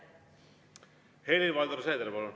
Helir-Valdor Seeder, palun!